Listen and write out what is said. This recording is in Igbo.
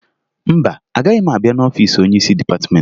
Mba, anaghị m abịa n'ọfiisi onyeisi dịpatịmentị